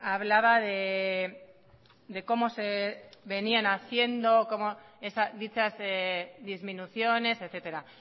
hablaba de cómo se venían haciendo dichas disminuciones etcétera